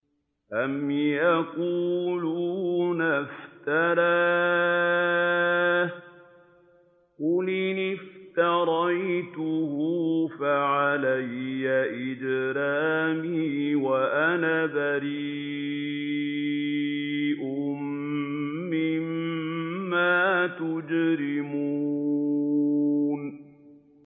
أَمْ يَقُولُونَ افْتَرَاهُ ۖ قُلْ إِنِ افْتَرَيْتُهُ فَعَلَيَّ إِجْرَامِي وَأَنَا بَرِيءٌ مِّمَّا تُجْرِمُونَ